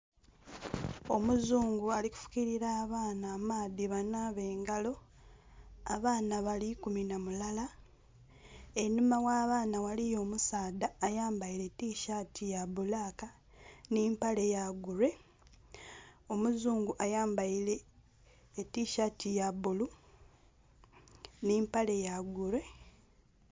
Omuzungu ali kufukilira abaana amaadhi banaabe engalo, abaana bali ikumi na mulala. Enhuma gh'abaana waliyo omusaadha ayambaile tishaati ya bbulaaka nh'empale ya gure. Omuzungu ayambaile etishaati ya bbulu nh'empale ya gure..